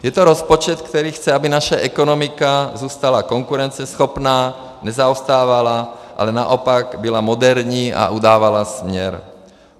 Je to rozpočet, který chce, aby naše ekonomika zůstala konkurenceschopná, nezaostávala, ale naopak byla moderní a udávala směr.